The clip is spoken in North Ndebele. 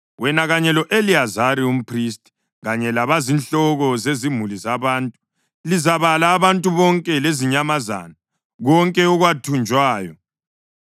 “Wena kanye lo-Eliyazari umphristi kanye labazinhloko zezimuli zabantu lizabala abantu bonke lezinyamazana, konke okwathunjwayo.